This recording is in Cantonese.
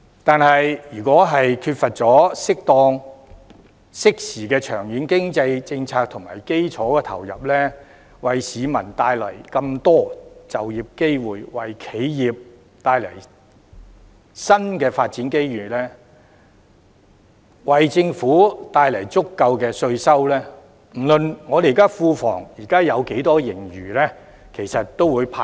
但是，如果缺乏適當及適時的長遠經濟政策及基礎投入，為市民帶來很多就業機會，為企業帶來新的發展機遇，為政府帶來足夠的稅收，不論庫房現時有多少盈餘，其實都會派光。